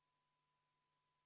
Ma ei suuda praegu nii kiiresti.